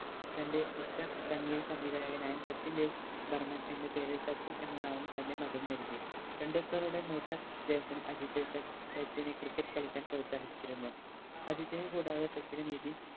തൻറെ ഇഷ്ട്ട സംഗീത സംവിധായനായ സച്ചിൻ ദേവ് ബർമൻ എന്ന പേര് സച്ചിൻ എന്ന നാമം തന്നെ മകന് നൽകി ടെൻഡുൽക്കറുടെ മൂത്ത ജേഷ്ഠൻ അജിത് സച്ചിനെ cricket കളിക്കാൻ പ്രോത്സാഹിപ്പിച്ചിരുന്നു അജിത്തിനെ കൂടാതെ സച്ചിന് നിതിൻ